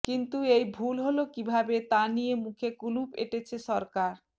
কিন্তু এই ভুল হল কীভাবে তা নিয়ে মুখে কুলুপ এঁটেছে সরকার